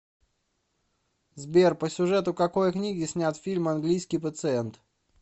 сбер по сюжету какои книги снят фильм англиискии пациент